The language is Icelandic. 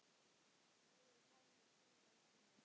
Megi Pálmi hvíla í friði.